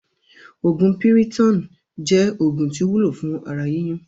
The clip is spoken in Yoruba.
Oògún Piriton jẹ́ oògùn tí ó wúlò fún ara yíyún